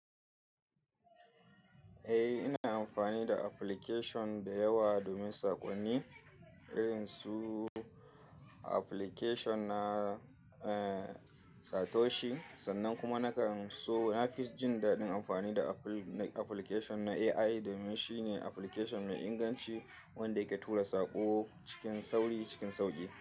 Eh ina amfani da application da yawa domin saƙonni irin su application na, eh Satoshi sannan kuma nakan so. Na fi jin daɗin amfani da application na AI domin shine application mai inganci wanda yake tura saƙo cikin sauri cikin sauƙi.